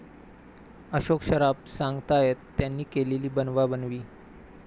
अशोक सराफ सांगतायत त्यांनी केलेली 'बनवाबनवी'!